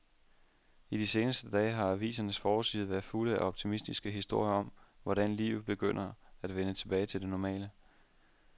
I de seneste dage har avisernes forsider været fulde af optimistiske historier om, hvordan livet begynder at vende tilbage til det normale.